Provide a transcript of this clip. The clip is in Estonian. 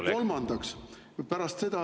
Ja kolmandaks: pärast seda …